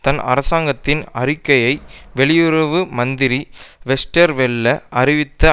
தன் அரசாங்கத்தின் அறிக்கையை வெளியுறவு மந்திரி வெஸ்டர்வெல்ல அறிவித்த